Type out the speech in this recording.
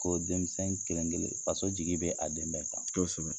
Ko denmisɛn kelen-kelen, faso jigi bɛ a den bɛɛ kan. Kosɛbɛ.